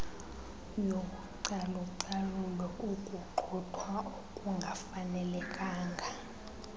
yocalucalulo ukugxothwa okungafanelekanga